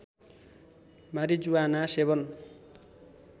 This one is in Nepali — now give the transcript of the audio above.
मारिजुआना सेवन